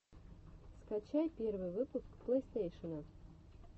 скачай первый выпуск плейстейшена